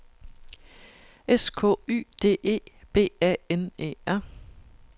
S K Y D E B A N E R